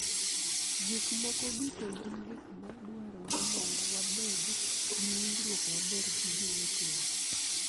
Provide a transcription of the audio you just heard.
Gik moko duto gin gik ma dwarore mondo wabed gi winjruok maber gi jowetewa.